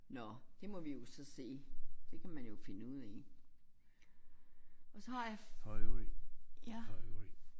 Nåh det må vi jo så se det kan man jo finde ud af og så har jeg ja?